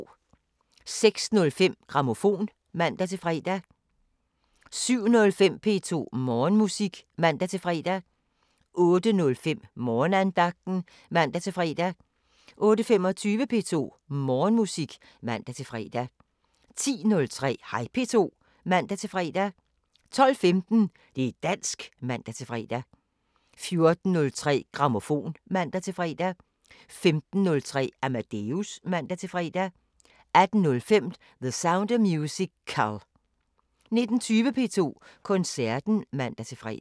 06:05: Grammofon (man-fre) 07:05: P2 Morgenmusik (man-fre) 08:05: Morgenandagten (man-fre) 08:25: P2 Morgenmusik (man-fre) 10:03: Hej P2 (man-fre) 12:15: Det´ dansk (man-fre) 14:03: Grammofon (man-fre) 15:03: Amadeus (man-fre) 18:05: The Sound of Musical 19:20: P2 Koncerten (man-fre)